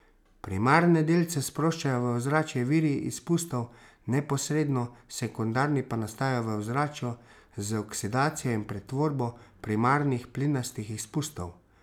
Primarne delce sproščajo v ozračje viri izpustov neposredno, sekundarni pa nastajajo v ozračju z oksidacijo in pretvorbo primarnih plinastih izpustov.